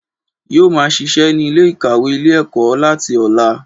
Yóò máa sisẹ́ ní Ilé ìkàwé Ilé ẹ̀kọ́ láti ọ̀la